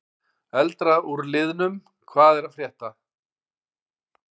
Eldra úr liðnum: Hvað er að frétta?